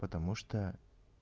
потому что